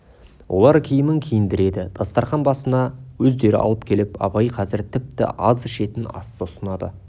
олар киімін киіндіреді дастарқан басына өздері алып келіп абай қазір тіпті аз ішетін асты ұсынады